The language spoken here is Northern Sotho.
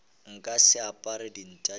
nka se apare dinta tša